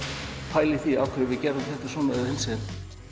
pæla í því af hverju gerðum við þetta svona eða hinsegin